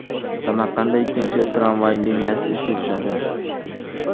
Samarqandda ikkinchi tramvay liniyasi ishga tushadi.